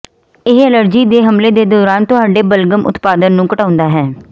ਇਹ ਅਲਰਜੀ ਦੇ ਹਮਲੇ ਦੇ ਦੌਰਾਨ ਤੁਹਾਡੇ ਬਲਗ਼ਮ ਉਤਪਾਦਨ ਨੂੰ ਘਟਾਉਂਦੇ ਹਨ